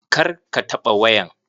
Kar ka taɓa wayan.